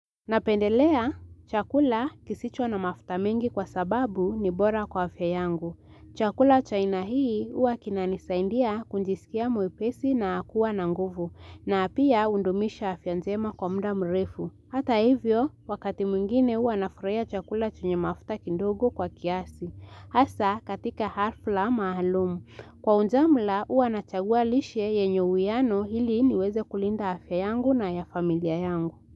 Napendelea chakula kisicho na mafuta mengi kwa sababu ni bora kwa afya yangu. Chakula cha aina hii huwa kinanisaidia kujisikia mwepesi na kuwa na nguvu na pia, hudumisha afya njema kwa muda mrefu. Hata hivyo wakati mwingine hua nafurahia chakula chenye mafuta kidogo kwa kiasi. Hasa katika hafla maalum. Kwa ujumla huwa nachagua lishe yenye uwiano ili niweze kulinda afya yangu na ya familia yangu.